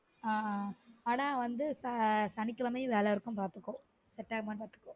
ஆஹ் ஆனா வந்து ச சனிகிழமையும் வேல இருக்கும் பார்த்துக்கோ Set ஆனா பார்த்துக்கோ